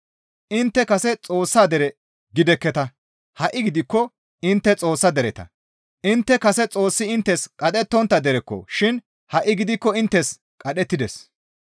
Intte kase Xoossa dere gidekketa; ha7i gidikko intte Xoossa dereta; intte kase Xoossi inttes qadhettontta derekko shin ha7i gidikko inttes qadhettides.